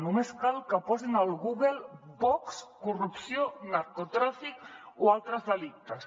només cal que posin al google vox corrupció narcotràfic o altres delictes